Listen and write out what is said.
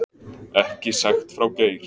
Ekki sagt frá Geir